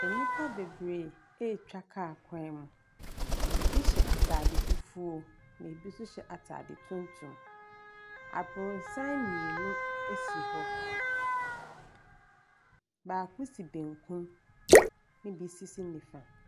Nnipa bebree atwa kaa kwan mu. Ebi hyɛ ataare fufuo ɛna ebi nso hyɛ ataare tuntum. Abrosan mmienu bi asi hɔ, baako si benkum ɛna ebi so si nifa.